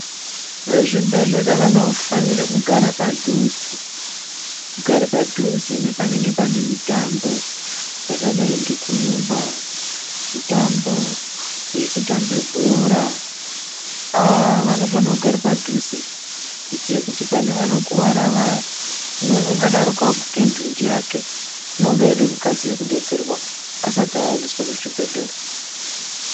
Vezvibhedhlera vanofanira kugara padhuze , kugara padhuze nepanenge panemitambo yakadai ngekurumba, mitambo yekutambe bhora, aaaa vanofanira kugare padhuze kuitira kuti pane vanokuvara vaya umweni ungadaroko, waguke ndunji yake, unonga aide kukasira kudetserwa, asati aendeswa kuchibhedhlera.